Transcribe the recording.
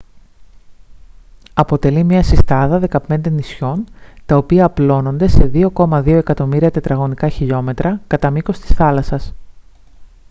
αποτελεί μια συστάδα 15 νησιών τα οποία απλώνονται σε 2,2 εκατομμύρια τετραγωνικά χιλιόμετρα κατά μήκος της θάλασσας